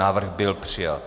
Návrh byl přijat.